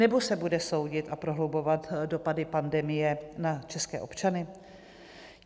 Nebo se bude soudit a prohlubovat dopady pandemie na české občany?